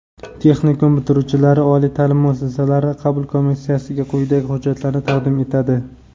Texnikum bitiruvchilari oliy ta’lim muassasasi qabul komissiyassiga quyidagi hujjatlarni taqdim etadi:.